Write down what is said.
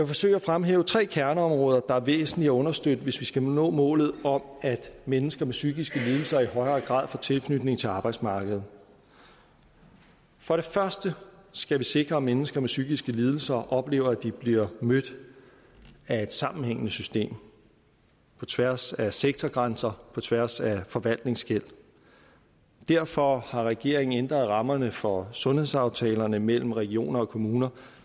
forsøge at fremhæve tre kerneområder der er væsentlige at understøtte hvis vi skal nå målet om at mennesker med psykiske lidelser i højere grad får tilknytning til arbejdsmarkedet for det første skal vi sikre at mennesker med psykiske lidelser oplever at de bliver mødt af et sammenhængende system på tværs af sektorgrænser på tværs af forvaltningsskel derfor har regeringen ændret rammerne for sundhedsaftalerne mellem regioner og kommuner